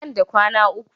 Nan da kwana uku.